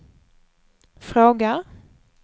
frågar